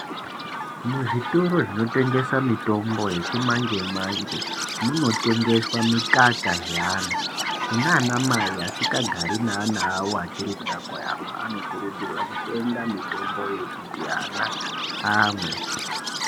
Muzvitoro zvinotengesa mitombo yechi manje manje munotengeswa mikaka ye ana kunana mai asinga gari ne ana awo achiri kuda kuyamwa anokurudzirwa kutenga mitombo yekuti ana amwe.